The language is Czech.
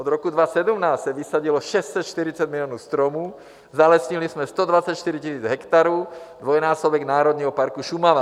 Od roku 2017 se vysadilo 640 milionů stromů, zalesnili jsme 124 tisíc hektarů, dvojnásobek Národního parku Šumava.